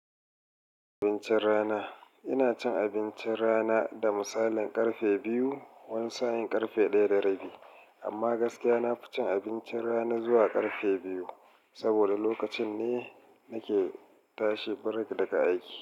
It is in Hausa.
Abincin rana. Ina cin abincin rana da misalin karfe biyu, wani sa'in karfe ɗaya da rabi. Amma gaskiya na fi cin abincin rana zuwa karfe biyu, saboda lokacin ne nake tashi break daga aiki.